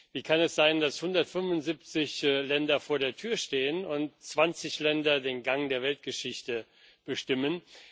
Wie kann es sein, dass 175 Länder vor der Tür stehen und 20 Länder den Gang der Weltgeschichte bestimmen?